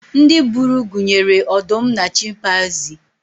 ndị buru gunyere ọdụm na chimpaizi